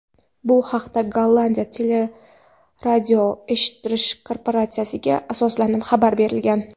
Bu haqda Gollandiya teleradioeshittirish korporatsiyasiga asoslanib xabar berilgan.